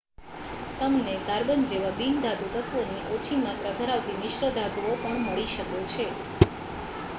તમને કાર્બન જેવા બિન-ધાતુ તત્ત્વોની ઓછી માત્રા ધરાવતી મિશ્ર ધાતુઓ પણ મળી શકે છે